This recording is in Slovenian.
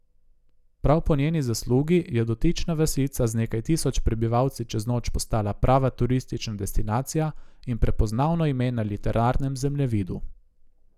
Prav po njeni zaslugi je dotična vasica z nekaj tisoč prebivalci čez noč postala prava turistična destinacija in prepoznavno ime na literarnem zemljevidu.